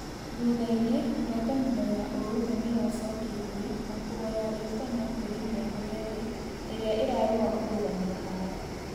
Thũthaĩnĩ ngwatanĩro ya ũrũmwe nĩiracokĩrĩe na kuhoya rĩĩtana kũrĩ mĩahũ yerĩ ĩrĩa ĩrarũa kũrũgamĩa haaro